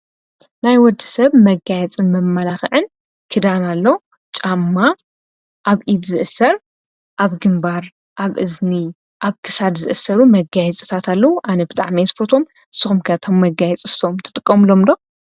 ናይ ወዲ ሰብ መጋያጽን መማላኽዕን ክዳና ኣሎ ጫማ ኣብኢድ ዝእሠር ኣብ ግምባር ኣብ እዝኒ ኣብ ክሳድ ዝእሠሩ መጋይት ጽታትለዉ ኣነብጥዕ መይስ ፈቶም ስኹምከቶም መጋይጽ ሶም ትጥቆምሎምሎ።